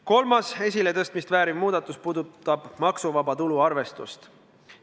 Kolmas esiletõstmist vääriv muudatus puudutab maksuvaba tulu arvestust.